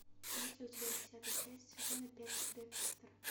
есть ли у тебя десятая часть сезона пять декстер